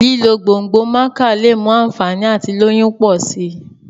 lílo gbòngbò maca lẹ mú ànfàní àti lóyún pọ si